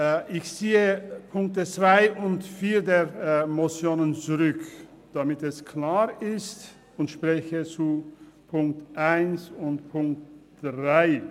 Ich ziehe die Punkte 2 und 4 dieser Motion zurück – damit dies klar ist – und spreche zu den Punkten 1 und 3.